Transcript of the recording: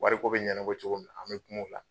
Wariko bɛ ɲɛnabɔ cogo min an bɛ kuma o la